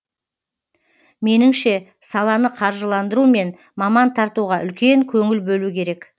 меніңше саланы қаржыландыру мен маман тартуға үлкен көңіл бөлу керек